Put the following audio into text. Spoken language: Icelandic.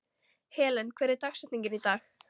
Helen, hver er dagsetningin í dag?